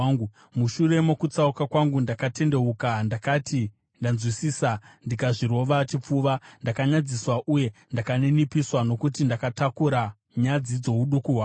Mushure mokutsauka kwangu, ndakatendeuka; ndakati ndanzwisisa ndakazvirova chipfuva. Ndakanyadziswa uye ndakaninipiswa nokuti ndakatakura nyadzi dzouduku hwangu.’